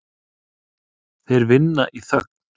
Þeir vinna í þögn.